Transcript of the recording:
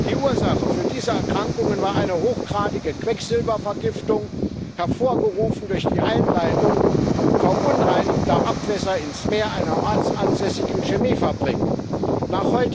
Die Ursache für diese Erkrankungen war eine hochgradige Quecksilbervergiftung, hervorgerufen durch die Einleitung verunreinigter Abwässer einer ortsansässigen Chemiefabrik ins Meer.